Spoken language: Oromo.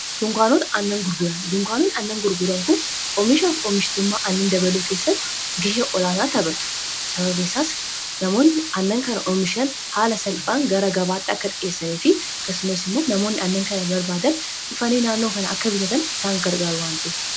ggdunkwaanoot annan gurguran kun omishaaf oomishtuummaa annan dabaloo keessatti giha olaanaa tapatu snmsaas namoonni annan kana omishan haala salphaan gara gabaaxxa akka xijeessane fi kasumas immoo namoonni annan kana barbaadan dhufanii naannoo kana akka bisatan isaan gargaru wante